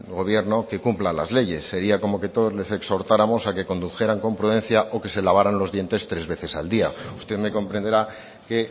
gobierno que cumpla las leyes sería como que todos les exhortáramos a que condujeran con prudencia o que se lavaran los dientes tres veces al día usted me comprenderá que